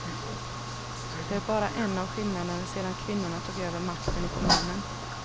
Det är bara en av skillnaderna sedan kvinnorna tog över makten i kommunen.